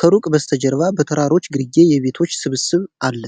ከሩቅ በስተጀርባ በተራሮች ግርጌ የቤቶች ስብስብ አለ።